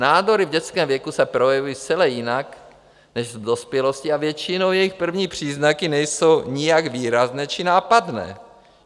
Nádory v dětském věku se projevují zcela jinak než v dospělosti a většinou jejich první příznaky nejsou nijak výrazné či nápadné.